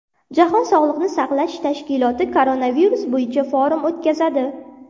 Jahon sog‘liqni saqlash tashkiloti koronavirus bo‘yicha forum o‘tkazadi.